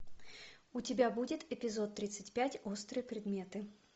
у тебя будет эпизод тридцать пять острые предметы